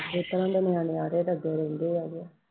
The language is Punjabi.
ਇਸ ਤਰ੍ਹਾਂ ਤਾਂ ਨਿਆਣੇ ਆੜੇ ਲੱਗੇ ਰਹਿੰਦੇ ਹੈਗੇ